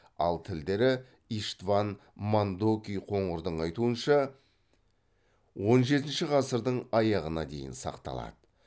ал тілдері иштван мандоки қоңырдың айтуынша он жетінші ғасырдың аяғына дейін сақталады